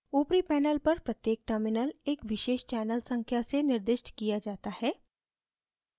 ऊपरी panel पर प्रत्येक terminal एक विशेष channel संख्या से निर्दिष्ट किया जाता है